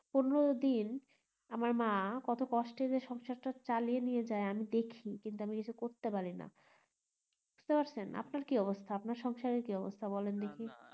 পনেরদিন আমার মা কত কষ্টে যে সংসারটা চালিয়ে নিয়ে যাই আমি দেখি কিন্তু আমি কিছু করতে পারিনা বুজতে পারছেন আপনার কি অবস্থা আপনার সংসারের কি অবস্থা বলেন দেখি